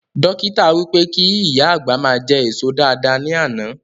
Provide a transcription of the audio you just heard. Dọ́kítà wí pé kí ìyá àgbà ma jẹ èso dáadáa ní àná